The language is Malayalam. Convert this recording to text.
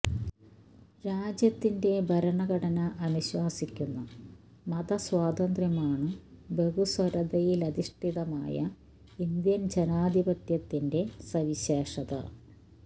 രാജ്യത്തിന്റെ ഭരണഘടന അനുശാസിക്കുന്ന മത സ്വാതന്ത്ര്യമാണ് ബഹുസ്വരതയിലധിഷ്ഠിതമായ ഇന്ത്യന് ജനാധിപത്യത്തിന്റെ സവിശേഷത